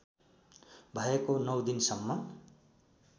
भएको नौ दिनसम्म